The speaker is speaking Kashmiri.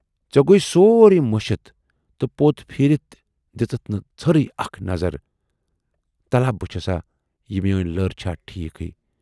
ژے گوے سورُے مٔشِتھ تہٕ پوت پھیٖرِتھ دِژٕتھ نہٕ ژھٔرۍ اَکھ نظر تلا بہٕ چُھسا یہِ میٲنۍ لٔر چھا ٹھیٖکٕے۔